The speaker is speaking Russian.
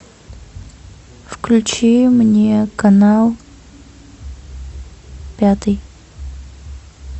включи мне канал пятый